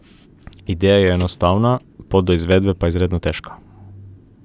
Ideja je enostavna, pot do izvedbe pa izredno težka.